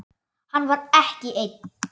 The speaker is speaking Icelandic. Hann var ekki einn.